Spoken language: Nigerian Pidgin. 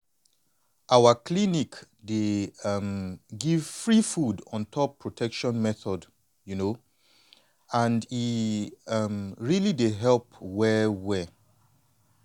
to talk true protection methods na protection methods na something wey everybody suppose dey yarn about more openly and honestly.